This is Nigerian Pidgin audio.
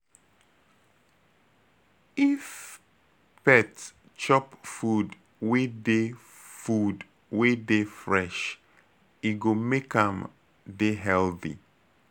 If pet chop food wey dey food wey dey Fresh e go make am dey healthy